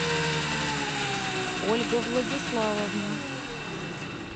ольга владиславовна